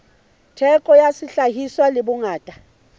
theko ya sehlahiswa le bongata